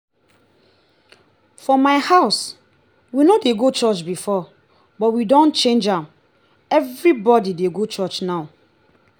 for my house we no dey go church before but we don change am. everybody dey go church now